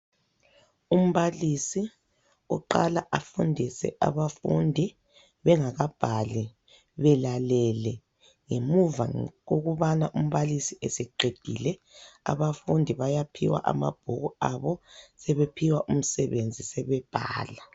Umbalisi uqala afundise abafundi bengakabhali belalele. Ngemuva kokubana umbalisi eseqedile abafundi bayaphiwa amabhuku abo sebephiwa umsebenzi sebebhala.